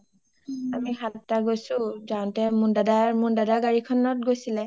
আমি সাতটা গৈছো যাওঁতে মোন দাদাৰ, মোন দাদাৰ গাৰিখন গৈছিলে